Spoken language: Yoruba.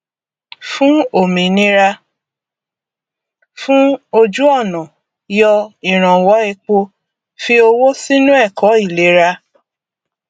fún òmìnira fún òjúọnà yọ ìrànwọ epo fi owó sínú ẹkọ ìlera